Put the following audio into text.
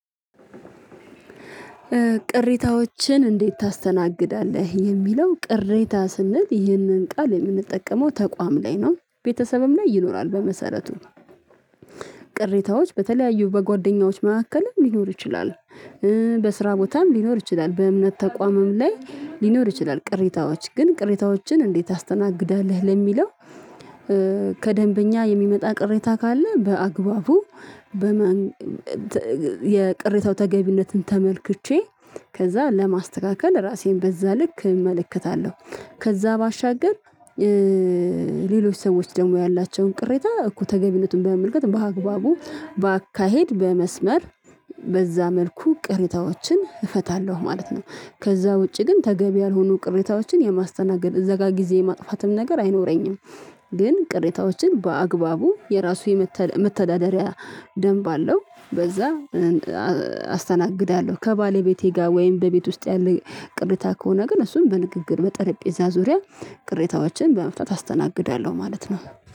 ቅሬታዎችን እንዴት ታስተናግዳለህ? የሚለው ቅሬታ ስንል ይህንን ቃል የምንጠቀመው ተቋም ላይ ነው፤ ቤተሰብም ላይ ይኖራል በመሰረቱ ቅሬታዎች በተለያዩ በጓደኛዎች መሀከልም ሊኖር ይችላል፤ በስራ ቦታም ሊኖር ይችላል በእምነት ተቋምም ላይ ሊኖር ይችላል። ቅሬታዎች ግን ቅሬታዎችን እንዴት ታስተናግዳለህ ለሚለው ከደንበኛ የሚመጣ ቅሬታ ካለ በአግባቡ በመን የቅሬታው ተገቢነትን ተመልክቼ ከዛ ለማስተካከል ራሴን በዛ ልክ እመለከታለሁ ከዛ ባሻገር ሌሎች ሰዎች ደግሞ ያላቸውን ቅሬታ እኮ ተገቢነቱን በመመልከት በአግባቡ፤ በአካሄድ፤ በመስመር በዛ መልኩ ቅሬታዎችን እፈታለሁ ማለት ነው። ከዛ ውጪ ግን ተገቢ ያልሆኑ ቅሬታዎችን የማስተናገድ እዛ ጋ ግዜ የማጥፋትም ነገር አይኖረኝም ግን ቅሬታዎችን በአግባቡ የራሱ የመተዳደሪያ ደንብ አለው በዛ አስተናግዳለሁ። ከባለቤቴ ጋር ወይም በቤት ውስጥ ያለ ቅሬታ ከሆነ ግን እሱን በንግግር በጠረጴዛ ዙሪያ ቅሬታዎችን በመፍታት አስተናግዳለሁ ማለት ነው።